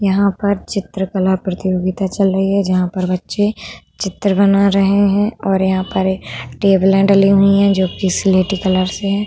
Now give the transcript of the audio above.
यहाँ पर चित्रकला प्रतियोगिता चल रही है। जहां पर बच्चे चित्र बना रहे हैं और यहाँ पर टेबले डली हुई है जो कि स्लेटी कलर से है।